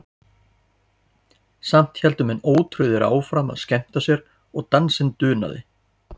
Samt héldu menn ótrauðir áfram að skemmta sér og dansinn dunaði.